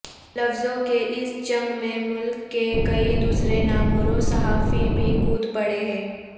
لفظوں کی اس جنگ میں ملک کے کئی دوسرے نامور صحافی بھی کود پڑے ہیں